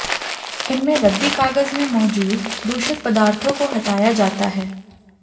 इनमें रद्दी कागज में मौजूद दूषित पदार्थों को हटाया जाता है